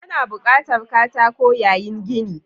Ana buƙatar katako yayin gini.